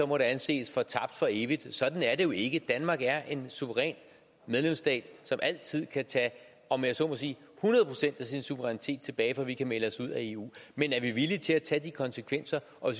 må det anses for tabt for evigt sådan er det jo ikke danmark er en suveræn medlemsstat som altid kan tage om jeg så må sige hundrede procent af sin suverænitet tilbage for vi kan melde os ud af eu men er vi villige til at tage de konsekvenser og